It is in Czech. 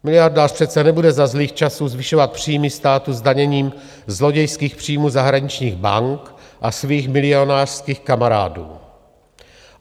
Miliardář přece nebude za zlých časů zvyšovat příjmy státu zdaněním zlodějských příjmů zahraničních bank a svých milionářských kamarádů.